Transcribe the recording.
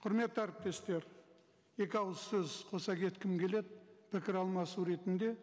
құрметті әріптестер екі ауыз сөз қоса кеткім келеді пікір алмасу ретінде